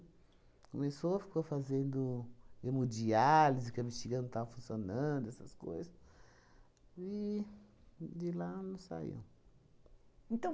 Começou, ficou fazendo hemodiálise, que a bexiga não tava funcionando, essas coisas, e de lá não saiu. Então